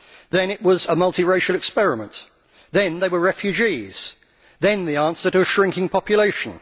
then it was a multiracial experiment then they were refugees, and then the answer to a shrinking population.